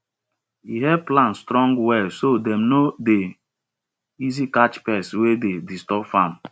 e help plants strong well so dem no dey easy catch pests wey dey disturb farm